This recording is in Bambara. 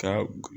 Ka